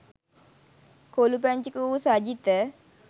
කොලූ පැංචෙකු වූ සජිත